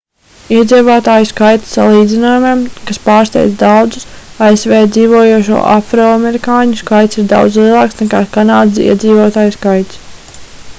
iedzīvotāju skaita salīdzinājumam kas pārsteidz daudzus asv dzīvojošo afroamerikāņu skaits ir daudz lielāks nekā kanādas iedzīvotāju skaits